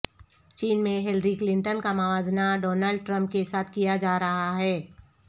چین میں Hillary Clinton کا موازنہ ڈونلڈ ٹرمپ کے ساتھ کیا جا رہا ہے